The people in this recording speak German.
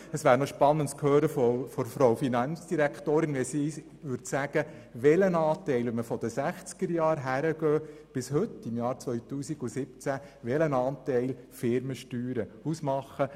Es wäre noch interessant, von der Regierungsrätin zu hören, welchen Anteil die Firmensteuern seit den 1960er-Jahren bis heute ausmachen.